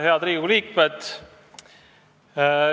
Head Riigikogu liikmed!